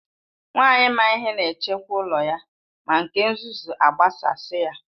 Nwanyị maa ihe na echekwa ụlọ ya, ma nke nzuzu agbasasi ya.